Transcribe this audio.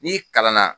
N'i kalan na